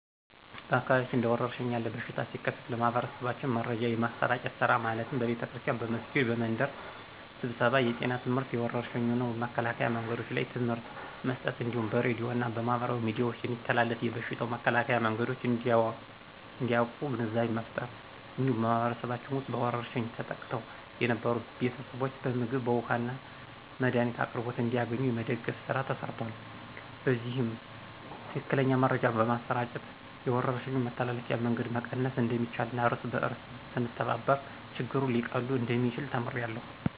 በአካባቢያችን እንደ ወረርሽን ያለ በሽታ ሲከሰት ለማህበረሰባችን መረጃ የማሰራጨት ስራ ማለትም በቤተክርስቲያን፣ በመስጊድ፣ በመንደር ስብሰባ የጤና ትምህርትና የወረርሽኙን መከላከያ መንገዶች ላይ ትምህርት መስጠት እንዲሁም በሬድዮ እና በማህበራዊ ሚዲያዎች የሚተላለፉ የበሽታው መከላከያ መንገዶች እንዲያቁ ግንዛቤ መፍጠር። እንዲሁም በማህበረሰባችን ውስጥ በወረርሽኝ ተጠቅተው የነበሩትን ቤተሰቦች በምግብ፣ በውሀ እና የመድኃኒት አቅርቦት እንዲያገኙ የመደገፍ ስራ ተሰርቷል። በዚህም ትክክለኛ መረጃ በማሰራጨት የወረርሽኙን የመተላለፍ መንገድ መቀነስ እንደሚቻልና እርስ በእርስ ስንተባበር ችግሮች ሊቀሉ እንደሚችሉ ተምሬያለሁ።